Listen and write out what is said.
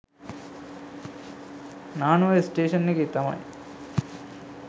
Nanuoya station එකේ තමයි.